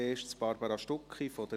zuerst Barbara Stucki, glp.